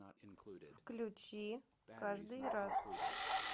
включи каждый раз